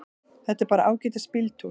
Þetta er bara ágætis bíltúr.